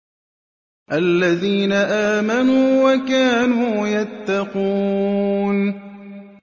الَّذِينَ آمَنُوا وَكَانُوا يَتَّقُونَ